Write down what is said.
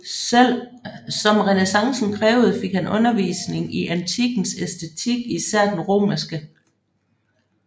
Som renæssancen krævede fik han undervisninng i antikkens æstetik især den romerske